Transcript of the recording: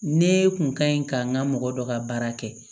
Ne kun ka ɲi ka n ka mɔgɔ dɔ ka baara kɛ